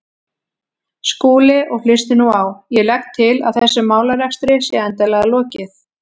Skúli, og hlustið nú á: Ég legg til að þessum málarekstri sé endanlega lokið.